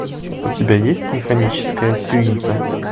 у тебя есть механическая сюита